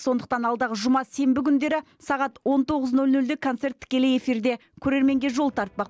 сондықтан алдағы жұма сенбі күндері сағат он тоғыз нөл нөлде концерт тікелей эфирде көрерменге жол тартпақ